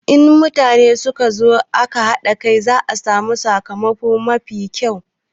In mutane suka zo tare aƙa haɗa ƙai, za a samu sakamako mafi ƙyau.